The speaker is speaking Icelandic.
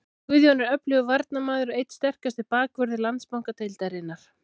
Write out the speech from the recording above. Guðjón er öflugur varnarmaður og einn sterkasti bakvörður Landsbankadeildarinnar.